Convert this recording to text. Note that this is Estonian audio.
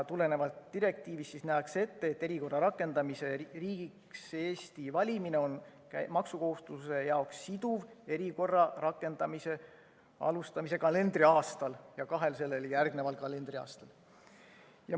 Tulenevalt direktiivist nähakse ette, et erikorra rakendamise riigiks Eesti valimine on maksukohustuslase jaoks siduv erikorra rakendamise alustamise kalendriaastal ja kahel sellele järgneval kalendriaastal.